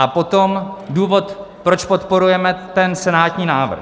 A potom důvod, proč podporujeme ten senátní návrh.